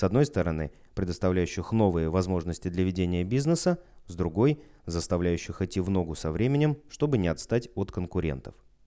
с одной стороны предоставляющих новые возможности для ведения бизнеса с другой заставляющих идти в ногу со временем чтобы не отстать от конкурентов